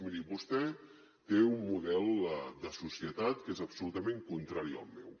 miri vostè té un model de societat que és absolutament contrari al meu